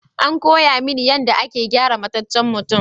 An koya mini yadda ake gyara mataccen mutum.